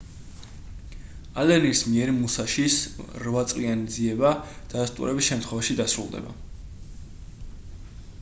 ალენის მიერ მუსაშის რვაწლიანი ძიება დადასტურების შემთხვევაში დასრულდება